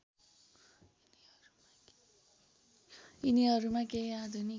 यिनीहरूमा केही आधुनिक